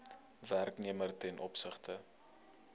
werknemer ten opsigte